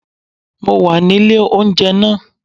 Mo wà nílé oúnjẹ náà